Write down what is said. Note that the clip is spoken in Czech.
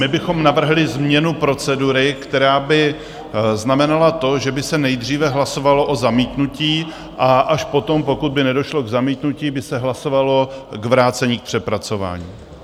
My bychom navrhli změnu procedury, která by znamenala to, že by se nejdříve hlasovalo o zamítnutí a až potom, pokud by nedošlo k zamítnutí, by se hlasovalo k vrácení k přepracování.